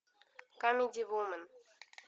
камеди вумен